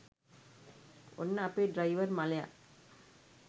ඔන්න අපේ ඩ්‍රයිවර් මලය